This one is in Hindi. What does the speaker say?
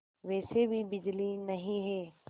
वैसे भी बिजली नहीं है